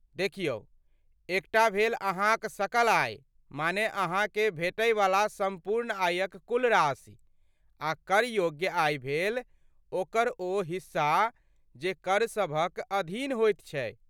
देखियौ, एकटा भेल अहाँक सकल आय, माने अहाँके भेटै वला सम्पूर्ण आयक कुल राशि, आ कर योग्य आय भेल ओकर ओ हिस्सा जे कर सभक अधीन होइत छै।